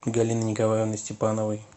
галины николаевны степановой